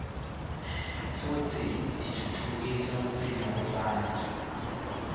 futsi titfutfukisa kuphila kwebantfu